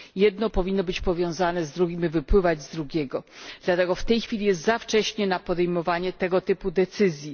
r.. Jedno powinno być powiązane z drugim i wypływać z drugiego, dlatego w tej chwili jest za wcześnie na podejmowanie tego typu decyzji.